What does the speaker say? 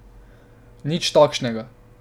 Nič takšnega.